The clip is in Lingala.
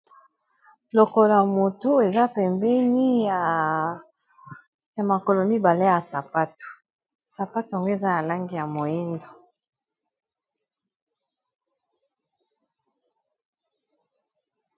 Lokola moto eza pembeni ya makolo mibale ya sapato, sapato ngo eza na lange ya moyindo.